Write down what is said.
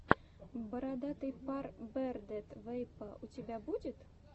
бородатый пар бэрдэд вэйпо у тебя будет